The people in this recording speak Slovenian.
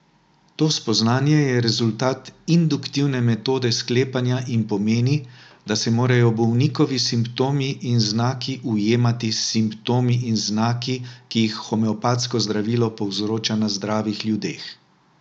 To spoznanje je rezultat induktivne metode sklepanja in pomeni, da se morajo bolnikovi simptomi in znaki ujemati s simptomi in znaki, ki jih homeopatsko zdravilo povzroča na zdravih ljudeh.